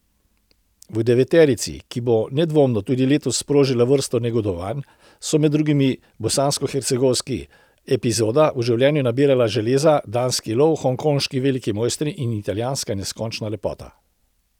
V deveterici, ki bo nedvomno tudi letos sprožila vrsto negodovanj, so med drugim bosanskohercegovski Epizoda v življenju nabiralca železa, danski Lov, hongkonški Veliki mojster in italijanska Neskončna lepota.